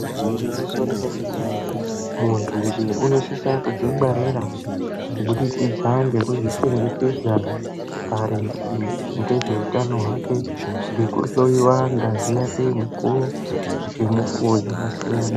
Igwinyiso remene mene munhunje unosise kudzingwarira kubudikidza ngekuzvichengetedza maringe ngezveutano hwake ngekuhloyiwa ngazi yake mukuwo ngemukuwo dzakasiyana.